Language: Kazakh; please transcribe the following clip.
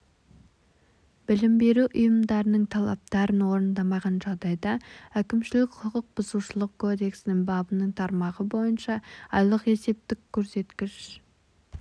білім беру ұйымдарының талаптарын орындамаған жағдайда әкімшілік құқықбұзушылық кодексінің бабының тармағы бойынша айлық есептік көрсеткіш